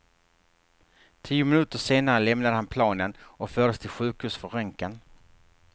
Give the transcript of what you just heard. Tio minuter senare lämnade han planen och fördes till sjukhus för röntgen.